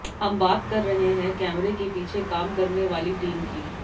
हम बात कर रहे हैं कैमरे के पीछे काम करने वाली टीम की